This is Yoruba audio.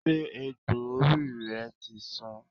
Ṣé egbò orí rẹ ti san?